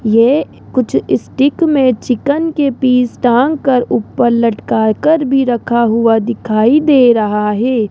ये कुछ स्टिक मे चिकन के पीस डालकर ऊपर लटका कर भी रखा हुआ दिखाई दे रहा है।